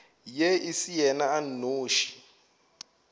e se yena a nnoši